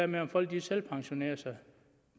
med om folk selvpensionerede sig